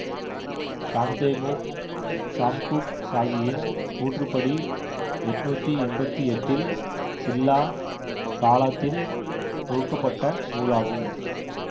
சாம்தேமோக் Samguk சாகியின் கூற்றுப்படி எட்ணூற்றி எம்பத்தி எட்டில் சில்லா காலாத்தில் தொகுக்க பட்ட நூலாகும்